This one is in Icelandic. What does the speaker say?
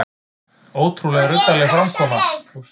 Ótrúlega ruddaleg framkoma